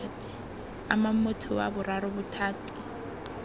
amang motho wa boraro bothati